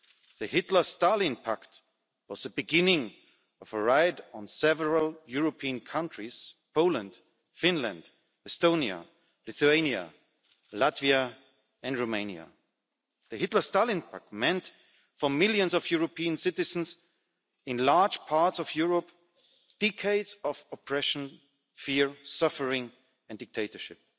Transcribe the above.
The Hitler-Stalin Pact was the beginning of a raid on several European countries Poland, Finland, Estonia, Lithuania, Latvia and Romania. The Hitler-Stalin Pact meant, for millions of European citizens in large parts of Europe, decades of oppression, fear, suffering and dictatorship.